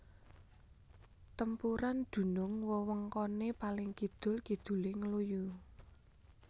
Tempuran dunung wewengkone paling kidul kidule Ngluyu